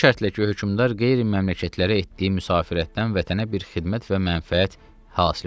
Bu şərtlə ki, hökmdar qeyri məmləkətlərə etdiyi müsafirətdən vətənə bir xidmət və mənfəət hasil ola.